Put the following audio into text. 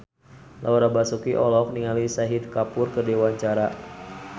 Laura Basuki olohok ningali Shahid Kapoor keur diwawancara